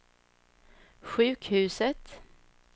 sjukhuset